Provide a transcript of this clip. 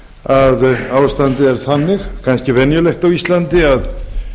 að ástandið er þannig ekki venjulegt á íslandi að